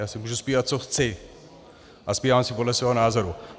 Já si budu zpívat, co chci, a zpívám si podle svého názoru.